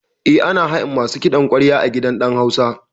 Eh, ana hayan masu kiɗan ƙwarya a gidan ɗan hausa